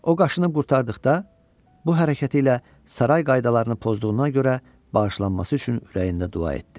O qaşınıb qurtardıqda, bu hərəkəti ilə saray qaydalarını pozduğuna görə bağışlanması üçün ürəyində dua etdi.